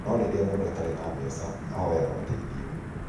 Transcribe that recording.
No rĩrĩa mũndũ atarĩ na mbeca, ahoyaga ũteithio.